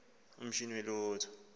umashini we lotto